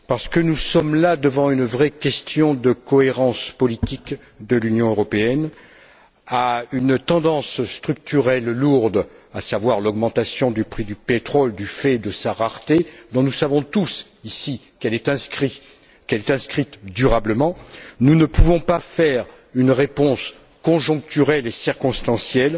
Parce que nous sommes confrontés à une vraie question de cohérence politique de l'Union européenne, à une tendance structurelle lourde, à savoir l'augmentation du prix du pétrole du fait de sa rareté dont nous savons tous, ici, qu'elle est inscrite durablement nous ne pouvons pas apporter une réponse conjoncturelle et circonstancielle